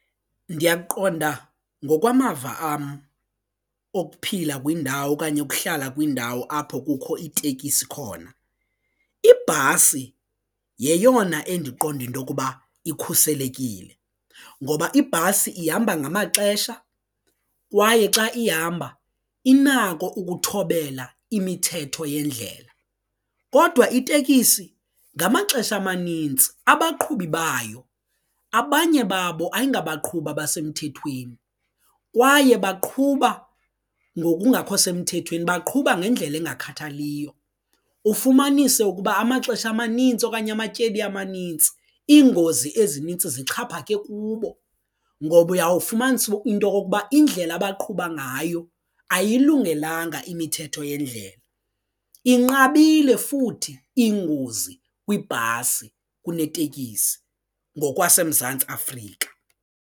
Ndiyaqonda ngokwamava am okuphila kwindawo okanye ukuhlala kwindawo apho kukho iitekisi khona, ibhasi yeyona endiqonda intokuba ikhuselekile ngoba ibhasi ihamba ngamaxesha kwaye xa ihamba inako ukuthobela imithetho yendlela kodwa itekisi ngamaxesha amanintsi abaqhubi bayo abanye babo ayingabaqhubi abasemthethweni kwaye baqhuba ngokungakho semthethweni baqhuba ngekungakhathaliyo ufumanise ukuba amaxesha amanintsi okanye amatyeli amanintsi iingozi ezinintsi zixhaphake kubo ngoba uyawufumanisa into kokuba indlela abaqhuba ngayo ayilungelanga imithetho yendlela inqabile futhi ingozi kwibhasi kunetekisi ngokwaseMzantsi Afrika.